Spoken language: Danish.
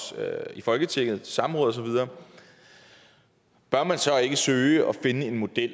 i folketinget i samråd og så videre bør man så ikke søge at finde en model